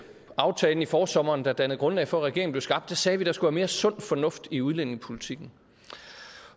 aftalen i forsommeren der dannede grundlag for at regeringen blev skabt sagde vi der skulle være mere sund fornuft i udlændingepolitikken